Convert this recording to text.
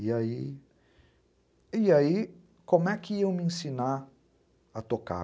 E aí... E aí, como é que iam me ensinar a tocar?